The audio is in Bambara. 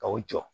Ka u jɔ